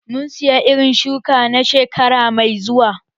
Mun saya irin shuki na shekara mai zuwa